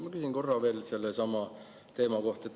Ma küsin korra veel sellesama teema kohta.